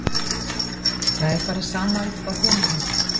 Það er bara sama upp á teningnum.